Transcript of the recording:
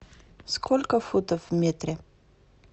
сколько футов в метре